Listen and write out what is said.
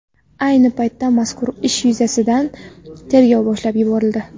Ayni paytda mazkur ish yuzasidan tergov boshlab yuborildi.